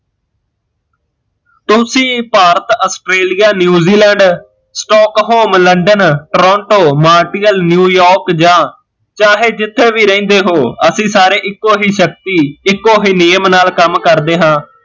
ਤੁਸੀਂ Bharat, Australia newzeland, stockholm london, toronto, martial new york ਜਾਂ ਚਾਹੇ ਜਿੱਥੇ ਵੀ ਰਹਿੰਦੇ ਹੋ ਅਸੀਂ ਸਾਰੇ ਇੱਕੋ ਹੀਂ ਸ਼ਕਤੀ ਇੱਕੋ ਹੀਂ ਨਿਯਮ ਨਾਲ਼ ਕੰਮ ਕਰਦੇ ਹਾਂ